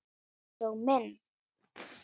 Einsog minn.